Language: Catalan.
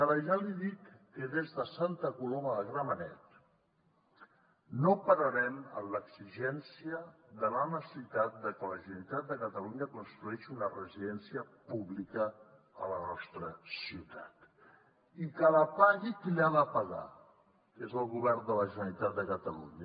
ara ja li dic que des de santa coloma de gramenet no pararem en l’exigència de la necessitat de que la generalitat de catalunya construeixi una residència pública a la nostra ciutat i que la pagui qui l’ha de pagar que és el govern de la generalitat de catalunya